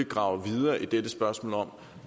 grave videre i dette spørgsmål om